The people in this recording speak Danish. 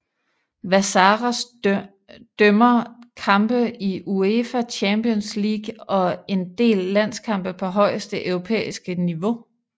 Vassaras dømmer kampe i UEFA Champions League og en del landskampe på højeste europæiske niveau